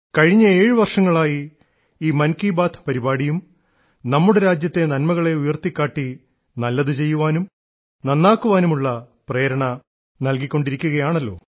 കഴിഞ്ഞ ഏഴു വർഷങ്ങളായി ഈ മൻ കി ബാത്ത് പരിപാടിയും നമ്മുടെ രാജ്യത്തെ നന്മകളെ ഉയർത്തിക്കാട്ടി നല്ലതു ചെയ്യുവാനും നന്നാക്കുവാനും ഉള്ള പ്രേരണ നല്കിക്കൊണ്ടിരിക്കുകയാണല്ലോ